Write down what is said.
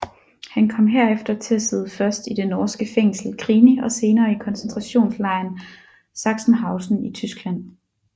Han kom herefter til at sidde først i det norske fængsel Grini og senere i koncentrationslejren Sachsenhausen i Tyskland